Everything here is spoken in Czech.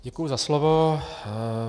Děkuji za slovo.